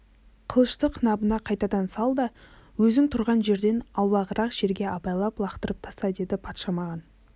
қылышты қынабына қайтадан сал да өзің тұрған жерден аулағырақ жерге абайлап лақтырып таста деді патша маған